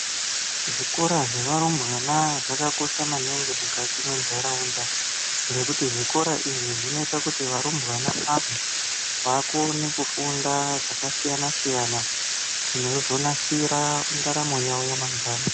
Zvikora zvevarumbwana zvakakosha maningi mukati mwenharaunda ngékuti zvikora izvi zvinoita kuti varumbwana ava vakone kufunda zvakasiyana siyana kuti vakone kuzonasira ndaramo yavo yamangwana.